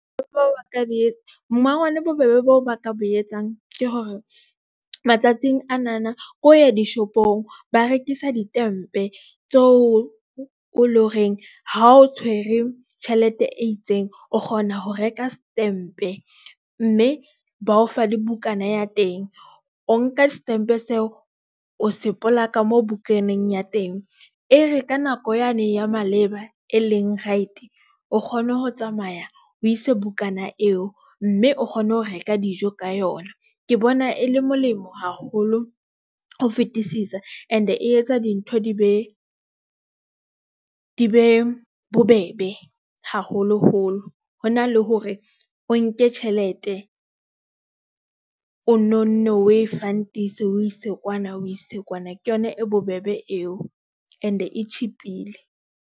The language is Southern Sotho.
Batho bao ba ka di etsa mmangwane bobebe bao ba ka bo etsang ke hore matsatsing anana ke ho ya dishopong. Ba rekisa di stempe tseo o o leng horeng. Ha o tshwere tjhelete e itseng o kgona ho reka setempe mme ba o fa le bukana ya teng, o nka setempe seo o se polaka mo bukaneng ya teng. E re ka nako yane ya maleba e leng right, o kgone ho tsamaya, o ise bukana eo mme o kgone ho reka dijo ka yona. Ke bona e le molemo haholo ho fetisisa, and e etsa dintho di be bobebe, haholoholo hona le hore o nke tjhelete o nonne o e fund - ise o ise kwana, o ise kwana, ke yona e bobebe eo and e cheap-ile.